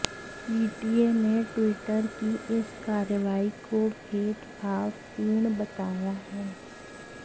PTA ने Twitter की इस कार्यवाही को भेदभाव पूर्ण बताया है